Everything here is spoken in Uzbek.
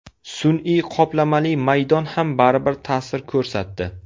Sun’iy qoplamali maydon ham baribir ta’sir ko‘rsatdi.